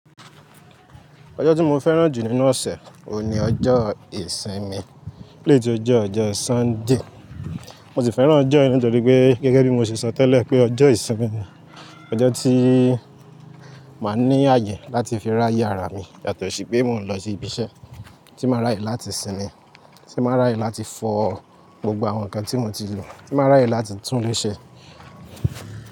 Ọjọ́ tí mo fẹ́ràn jù nínú ọ̀sẹ̀, òun ni ọjọ́ ìsinmi, kí ló ti jẹ́ ọjọ́ Sunday. Mo sì fẹ́ràn ọjọ́ yìí nítorí pé gẹ́gẹ́ bí mo ṣe sọ tẹ́lẹ̀ pé ọjọ́ ìsinmi ni, ọjọ́ tí màá ní àyè láti fi ra ye àrá mi yàtọ̀ sí pé mò ń lọ sí ibi iṣẹ́, tí màá ra èyí láti sinmi, tí màá ra èyí láti fọ gbogbo àwọn nǹkan tí mo ti lò, tí màá ra èyí láti tún léṣe.